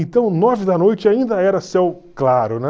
Então, nove da noite ainda era céu claro, né?